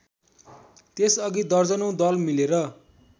त्यसअघि दर्जनौं दल मिलेर